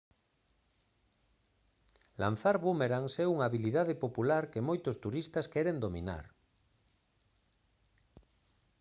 lanzar búmerangs é unha habilidade popular que moitos turistas queren dominar